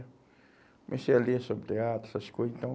Comecei a ler sobre teatro, essas coisa, então